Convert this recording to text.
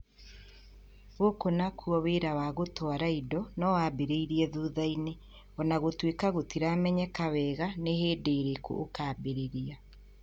Gũkũ naguo wĩra wa gũtwara indo no wambĩrĩrie thutha-inĩ, o na gũtuĩka gũtiramenyeka wega nĩ hĩndĩ ĩrĩkũ ũkũambĩrĩria".